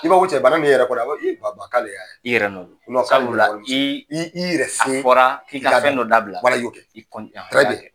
I b'a cɛ bana in bɛ i yɛrɛ kɔ dɛ a b'a fɔ i ba ba k'ale y'a ye i yɛrɛ nɔn do i yɛrɛ se a fɔra k'i ka fɛn dɔ dabila wala i y'o kɛ